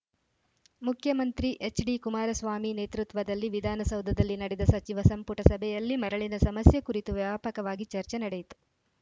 ಮುಖ್ಯಮಂತ್ರಿ ಎಚ್‌ಡಿಕುಮಾರಸ್ವಾಮಿ ನೇತೃತ್ವದಲ್ಲಿ ವಿಧಾನಸೌಧದಲ್ಲಿ ನಡೆದ ಸಚಿವ ಸಂಪುಟ ಸಭೆಯಲ್ಲಿ ಮರಳಿನ ಸಮಸ್ಯೆ ಕುರಿತು ವ್ಯಾಪಕವಾಗಿ ಚರ್ಚೆ ನಡೆಯಿತು